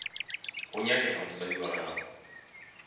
go nyakega mosadi wa gago